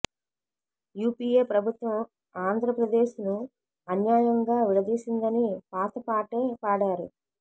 UPA ప్రభుత్వం ఆంద్ర ప్రదేశ్ను అన్యాయంగా విడదీసిందని పాత పాటే పాడారు